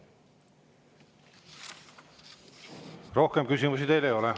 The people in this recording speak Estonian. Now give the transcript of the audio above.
Rohkem küsimusi teile ei ole.